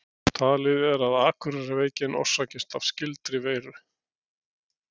Talið er að Akureyrarveikin orsakist af skyldri veiru.